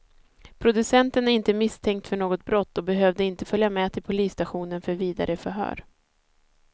Producenten är inte misstänkt för något brott och behövde inte följa med till polisstationen för vidare förhör.